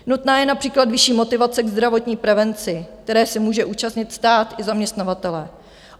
Nutná je například vyšší motivace k zdravotní prevenci, které se může účastnit stát i zaměstnavatelé.